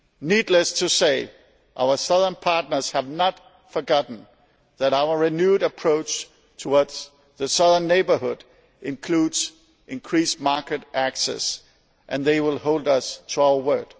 Needless to say, our southern partners have not forgotten that our renewed approach towards the Southern Neighbourhood includes increased market access, and they will hold us to our word.